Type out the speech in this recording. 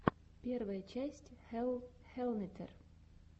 первая часть хелл хеллнетер